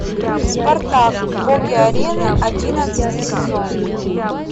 спартак боги арены одиннадцатый сезон